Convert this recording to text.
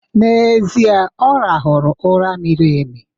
N'ezie, Ọ rahụru ụra miri emi